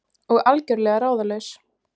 Og algjörlega ráðalaus.